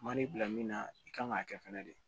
Ma n'i bila min na i kan k'a kɛ fɛnɛ de